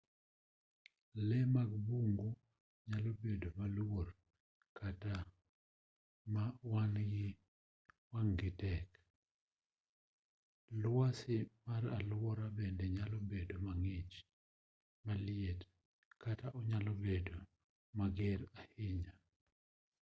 lee mag bungu nyalo bedo maluor kata ma wang'-gi tek lwasi mar alwora bende nyalo bedo mang'ich maliet kata onyalo bedo mager ahinya